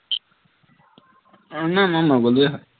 অ নাই মই নগলোৱেই হয়